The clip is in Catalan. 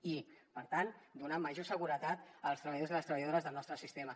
i per tant donar major seguretat als treballadors i les treballadores del nostre sistema